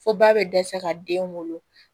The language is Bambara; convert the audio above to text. Fo ba bɛ dɛsɛ ka den wolo